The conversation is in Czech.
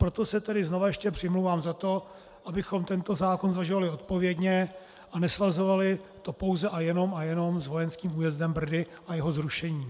Proto se tedy znova ještě přimlouvám za to, abychom tento zákon zvažovali odpovědně a nesvazovali to pouze a jenom a jenom s vojenským újezdem Brdy a jeho zrušením.